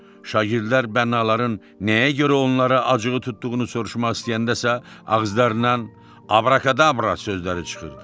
Şagirdlər bənaların nəyə görə onlara acığı tutduğunu soruşmaq istəyəndəsə ağızlarından abrakadabra sözləri çıxırdı.